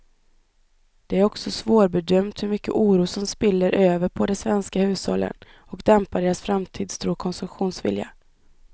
Det är också svårbedömt hur mycket oro som spiller över på de svenska hushållen och dämpar deras framtidstro och konsumtionsvilja.